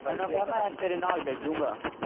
ਇਹਨੂੰ ਕਿਹਾ ਮੈਂ ਤੇਰੇ ਨਾਲ ਚੱਲਜੂਂਗਾ।